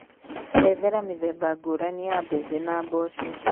Erethera mĩthemba ngũrani ya bembe na mbogo